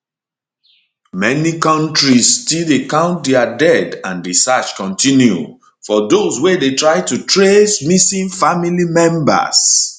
many kontris still dey count dia dead and di search continue for those wey dey try to trace missing family members